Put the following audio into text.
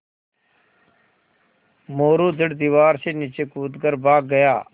मोरू झट दीवार से नीचे कूद कर भाग गया